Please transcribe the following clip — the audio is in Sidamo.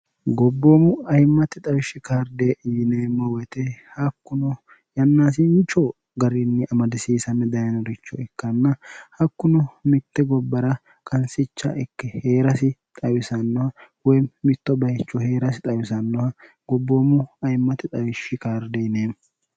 gobboomu ayimmatti xawishshi karde yineemmo woyite hakkuno yannaasinchoo garinni amadisiisami dayinuricho ikkanna hakkuno mitte gobbara kansicha ikkei hee'rasi xawisannoha woy mitto bayicho hee'rasi xawisannoha gobboomu ayimmati xawishshi kaarde yineemmo